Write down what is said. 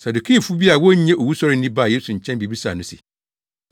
Sadukifo bi a wonnye owusɔre nni baa Yesu nkyɛn bebisaa no se,